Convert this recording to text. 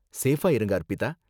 சேஃபா இருங்க அர்பிதா.